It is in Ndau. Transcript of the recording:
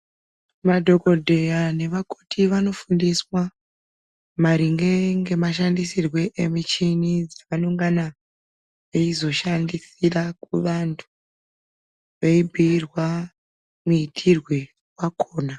Madhogobheya nevakoti vanofundiswa maringe nemashandisirwe emichini, dzinongana eizoshandisira kuvantu, veibhuirwa muitirwe vakona.